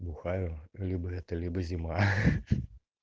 бухаю либо это либо зима